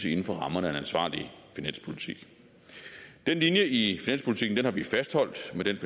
inden for rammerne af en ansvarlig finanspolitik den linje i finanspolitikken har vi fastholdt med den